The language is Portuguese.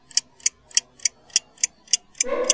Ou você sempre estava em contato? Como?